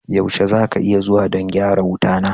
Yaushe za ka iya zuwa don gyara wuta na?